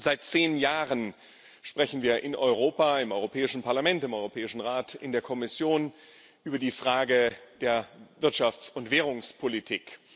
Seit zehn Jahren sprechen wir in Europa im Europäischen Parlament, im Europäischen Rat, in der Kommission über die Frage der Wirtschafts und Währungspolitik.